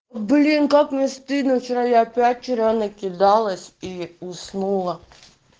блин как мне стыдно вчера я опять вчера накидалась и уснула